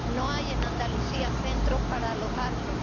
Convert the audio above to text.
No hay en Andalucía centros para alojarlos